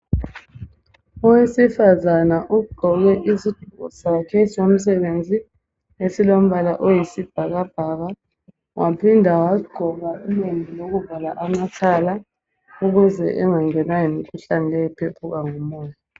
Owesifazana ugqoke izigqoko sakhe somsebenzi ezilombala oyisibhakabhaka . Waphinda wagqoka ilembu lokuvala amakhala ukuze engangenwa yimikhuhlane leyi ephephuka ngomoya.